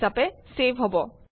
হিচাপে চেভ হব